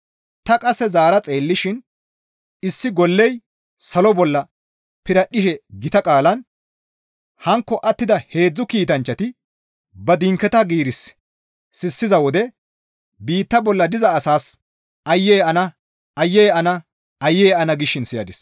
Ta qasse zaara xeellishin issi golley salo bolla piradhdhishe gita qaalan, «Hankko attida heedzdzu kiitanchchati ba dinketa giiris sissiza wode biitta bolla diza asaas aayye ana! Aayye ana! Aayye ana!» gishin siyadis.